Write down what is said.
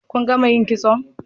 kun gama yin kitso?